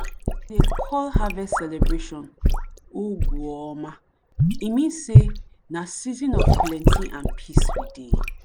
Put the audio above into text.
we dey call harvest celebration ugw oma e mean sey na season of plenty and peace we dey.